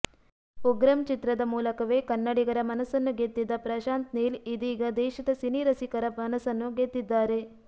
ಉಗ್ರಂ ಚಿತ್ರದ ಮೂಲಕವೇ ಕನ್ನಡಿಗರ ಮನಸ್ಸನ್ನು ಗೆದ್ದಿದ್ದ ಪ್ರಶಾಂತ್ ನೀಲ್ ಇದೀಗ ದೇಶದ ಸಿನಿರಸಿಕರ ಮನಸ್ಸನ್ನು ಗೆದ್ದಿದ್ದಾರೆ